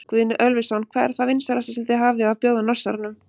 Guðni Ölversson: Hvað er það vinsælasta sem þið hafið að bjóða Norsaranum?